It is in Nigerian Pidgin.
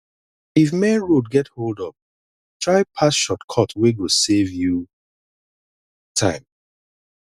if main road get holdup try pass shortcut wey go save you time